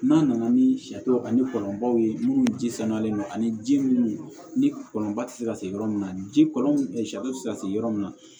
N'a nana ni sariw ani kɔlɔnbaw ye minnu ji sanuyalen don ani ji minnu ni kɔlɔnba tɛ se ka se yɔrɔ min na ji kɔlɔn sari tɛ se ka sigi yɔrɔ min na